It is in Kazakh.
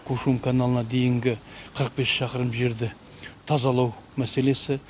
көшім су каналына дейінгі қырық бес шақырым жерді тазалау мәселесі